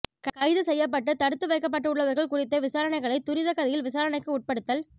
கைது செய்யப்பட்டு தடுத்து வைக்கப்பட்டுள்ளவர்கள் குறித்த விசாரணைகளை துரித கதியில் விசாரணைக்கு உட்படுத்தல்